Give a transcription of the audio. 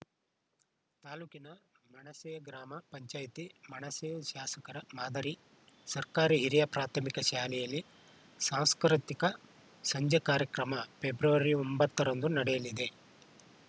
ತಾಲೂಕಿನ ಮೆಣಸೆ ಗ್ರಾಮ ಪಂಚಾಯಿತಿ ಮೆಣಸೆ ಶಾಸಕರ ಮಾದರಿ ಸರ್ಕಾರಿ ಹಿರಿಯ ಪ್ರಾಥಮಿಕ ಶಾಲೆಯಲ್ಲಿ ಸಾಂಸ್ಕೃತಿಕ ಸಂಜೆ ಕಾರ್ಯಕ್ರಮ ಫೆಬ್ರವರಿ ಒಂಬತ್ತರಂದು ನಡೆಯಲಿದೆ